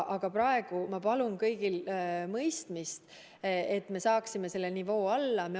Aga praegu ma palun kõigilt mõistmist, et me saaksime selle nivoo alla.